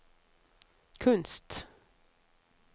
kunst